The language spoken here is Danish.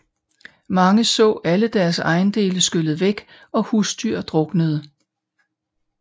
Mange så alle deres ejendele skylle væk og husdyr druknede